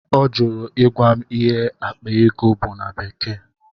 Ọ jụrụ ịgwa m ịhe akpa ego bụ na bekee.